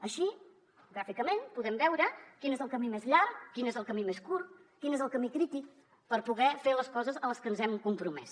així gràficament podem veure quin és el camí més llarg quin és el camí més curt quin és el camí crític per poder fer les coses a les que ens hem compromès